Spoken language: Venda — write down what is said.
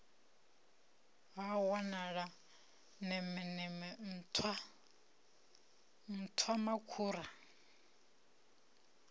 ha wanala nemeneme nṱhwa nṱhwamakhura